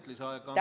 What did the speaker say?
Kolm lisaminutit.